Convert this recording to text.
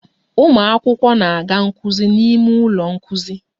Ụmụ akwụkwọ na-aga nkuzi n'ime ụlọ nkuzi